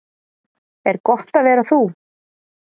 Er gott að vera þú?